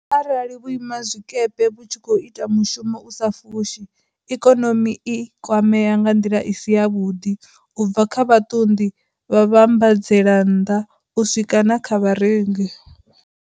Arali vhuimazwikepe vhu tshi khou ita mushumo u sa fushi, ikonomi i kwamea nga nḓila i si yavhuḓi, u bva kha vhaṱunḓi, vhavhambadzelannḓa u swika na kha vharengi.